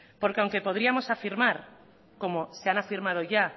porque aunque podríamos afirmar como se han afirmado ya